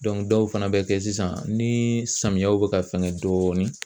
dɔw fana bɛ kɛ sisan ni samiyɛw bɛ ka fɛngɛ dɔɔnin